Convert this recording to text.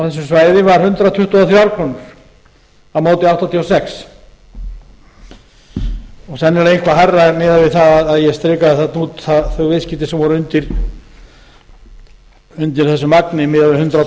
á þessu svæði var hundrað tuttugu og þrjár krónur á móti áttatíu og sex og sennilega eitthvað hærra ef miðað er við það að ég strikaði þarna út þau viðskipti sem voru undir þessu magni miðað við hundrað